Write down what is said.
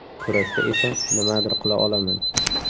Kurashda esa nimadir qila olaman.